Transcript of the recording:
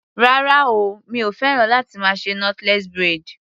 Rárá o, mi ò féràn láti más ṣe knotless braid.